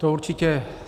To určitě.